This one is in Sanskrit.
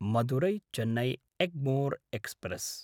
मदुरै–चेन्नै एग्मोर् एक्स्प्रेस्